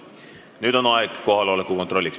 Nüüd on aeg kohaloleku kontrolliks.